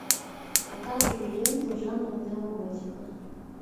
показывай ленту жанра неоготика